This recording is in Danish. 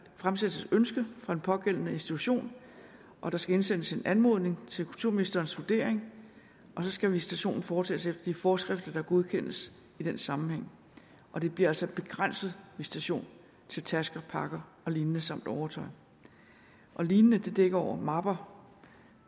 fremsættes et ønske fra den pågældende institution og der skal indsendes en anmodning til kulturministerens vurdering og så skal visitationen foretages efter de forskrifter der godkendes i den sammenhæng og det bliver altså en begrænset visitation til tasker pakker og lignende samt overtøj og lignende dækker over mapper